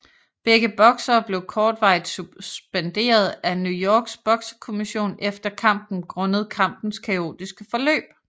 Begge boksere blev kortvarigt suspenderet af New Yorks boksekommission efter kampen grundet kampens kaotiske forløb